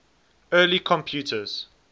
early computers